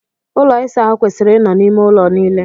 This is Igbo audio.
Ụlọ ịsa ahụ kwesịrị i nọ n'ime ụlọ niile.